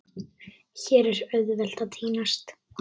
Hér er auðvelt að týnast.